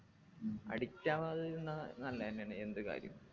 ഉം addict ആവാതിരുന്നാ നല്ലതെന്നെയാണ് എന്ത് കാര്യും